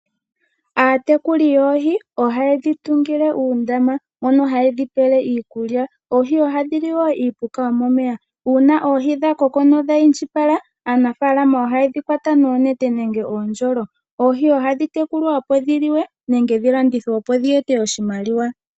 Aatekuli yoohi ohaye dhi tungile uundama mono hayedhi pele iikulya. Oohi ohadhi li wo iipuka yomomeya, uuna oohi dhakoko na odha indjipala, aanafaalama ohaye dhi kwata noonete nenge oondjolo. Oohi ohadhi tekulwa opo dhi liwe nenge dhilandithwe opo dhi ete oshimaliwa.